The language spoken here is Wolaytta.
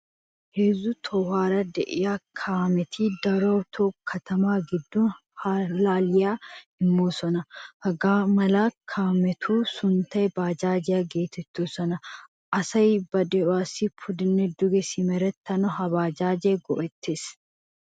Heezu tohouwaara de'iya kaameti daroto katama giddon allaliyaa immosona. Hagaamala kaametu sunttay baajaajiyaa geetetoosona. Asay ba de'iwasi pudene duge simeretanawu ha baajaajiyaa go'ettees.